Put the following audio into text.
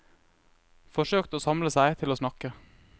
Forsøkte å samle seg til å snakke.